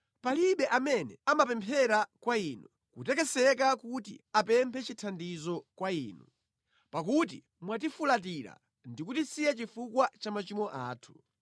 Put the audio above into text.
Palibe amene amapemphera kwa Inu kutekeseka kuti apemphe chithandizo kwa Inu; pakuti mwatifulatira ndi kutisiya chifukwa cha machimo athu.